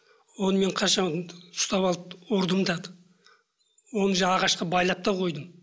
оны мен қаншама ұстап алып ұрдым да оны жаңа ағашқа байлап та қойдым